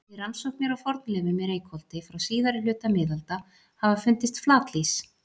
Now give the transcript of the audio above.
Við rannsóknir á fornleifum í Reykholti frá síðari hluta miðalda hafa fundist flatlýs.